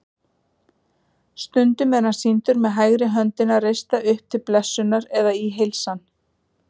Stundum er hann sýndur með hægri höndina reista upp til blessunar eða í heilsan.